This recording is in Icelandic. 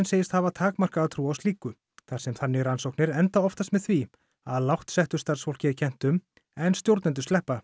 segist hafa takmarkaða trú á slíku þar sem þannig rannsóknir endi oftast með því að lágt settu starfsfólki er kennt um en stjórnendur sleppa